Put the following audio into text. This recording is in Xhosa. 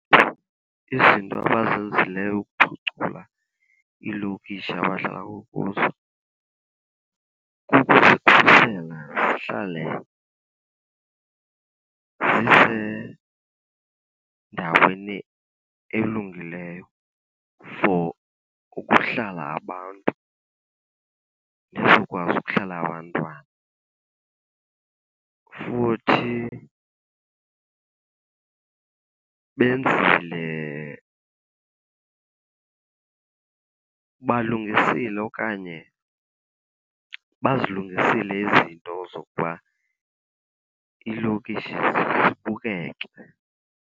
Izinto abazenzileyo ukuphucula iilokishi abahlala kuzo kukuzikhusela zihlale zisendaweni elungileyo for ukuhlala abantu, izokwazi ukuhlala abantwana. Futhi benzile balungisile okanye bazilungisile izinto zokuba iilokishi zibukeke.